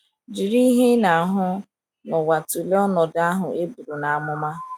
Jiri ihe ị na - ahụ n’ụwa tụlee ọnọdụ ahụ e bụrụ n’amụma.